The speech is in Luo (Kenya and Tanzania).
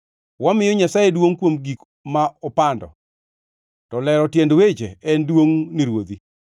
Wamiyo Nyasaye duongʼ kuom gik ma opando; to lero tiend weche en duongʼ ni ruodhi.